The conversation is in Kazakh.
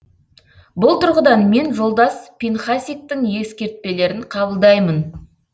бұл тұрғыдан мен жолдас пинхасиктің ескертпелерін қабылдаймын